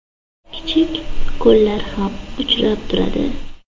Kichik ko‘llar ham uchrab turadi.